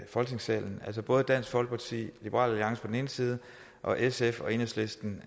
folketingssalen altså fra dansk folkeparti liberal alliance på den ene side og sf og enhedslisten